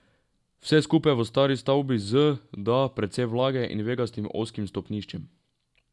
Vse skupaj v stari stavbi z, da, precej vlage in vegastim ozkim stopniščem.